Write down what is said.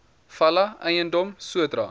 fala eiendom sodra